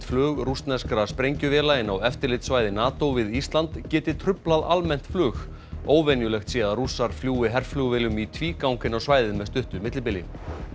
flug rússneskra sprengjuvéla inn á eftirlitssvæði NATO við Ísland geti truflað almennt flug óvenjulegt sé að Rússar fljúgi herflugvélum í tvígang inn á svæðið með stuttu millibili